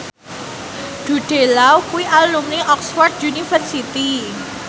Jude Law kuwi alumni Oxford university